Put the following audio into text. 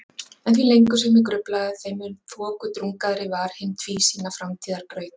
En því lengur sem ég gruflaði þeim mun þokudrungaðri var hin tvísýna framtíðarbraut.